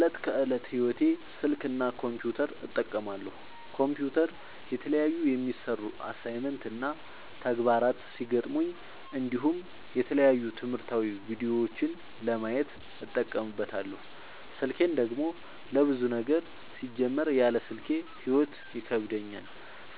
ለዕት ከዕለት ህይወቴ ስልክ እና ኮምፒውተር እጠቀማለሁ። ኮምፒውተር የተለያዩ የሚሰሩ አሳይመንት እና ተግባራት ሲገጥሙኝ እንዲሁም የተለያዩ ትምህርታዊ ቪዲዮዎችን ለማየት እጠቀምበታለው። ስልኬን ደግሞ ለብዙ ነገር ሲጀመር ያለ ስልኬ ህይወት ይከብደኛል።